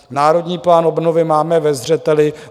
Národní plán obnovy máme ve zřeteli.